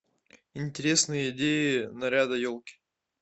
интересные идеи наряда елки